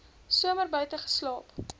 somer buite geslaap